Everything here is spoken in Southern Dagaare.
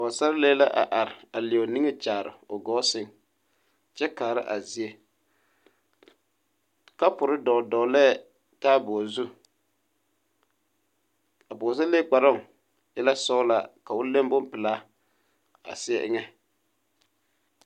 Pɔɡesarelee la a are a leɛ o niŋe kyaare o ɡɔɔ sɛŋ kyɛ kaara a zie kapuri dɔɔdɔɔlɛɛ tabuli zu a pɔɡesarelee kparoo e la sɔɔlaa ne bompelaa a seɛ eŋɛ.